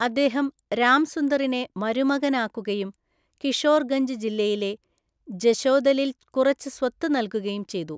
അദ്ദേഹം രാംസുന്ദറിനെ മരുമകനാക്കുകയും കിഷോർഗഞ്ച് ജില്ലയിലെ ജശോദലിൽ കുറച്ച് സ്വത്ത് നൽകുകയും ചെയ്തു.